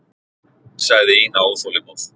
sagði Ína óþolinmóð.